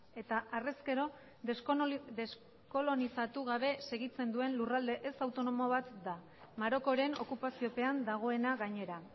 eta harrezkero deskolonizatu gabe segitzen duen lurralde ez autonomo bat da marokoren okupaziopean dagoena gainera